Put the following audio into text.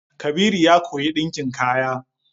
Kabiru ya koyi ɗinkin kaya.